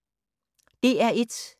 DR1